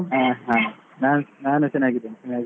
ಹ ಹಾ. ನ~ ನಾನು ಚನ್ನಾಗಿದ್ದೇನೆ ಚನ್ನಾಗಿದ್ದೇನೆ.